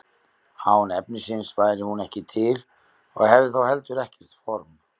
án efnisins væri hún ekki til og hefði þá heldur ekkert form